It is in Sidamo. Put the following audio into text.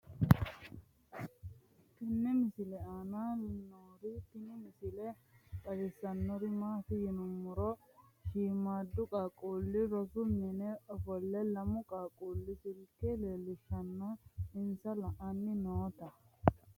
tenne misile aana noorina tini misile xawissannori maati yinummoro shiimmadu qaaqulli rosu minne offole lamu qaaqqulli silike leelishshanna insa la'anni nootta